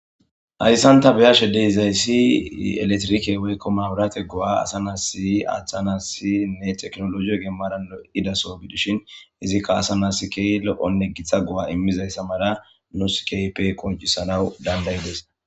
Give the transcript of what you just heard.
Hayssan ta be'ishe de'izayssi elektrike woykko mabrate go'a asa na'as aathanas teknoloje maaran oyqqidaso gidishin izikka asa na'as keehi lo'onne gita go'a immizayssa mala nus keehippe qonccisanas dandda'idos.